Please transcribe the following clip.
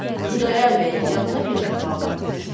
Xudayar bəyin yadına bir əhvalat düşdü.